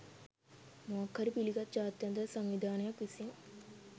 මොකක් හරි පිළිගත් ජාත්‍යන්තර සංවිධානයක් විසින්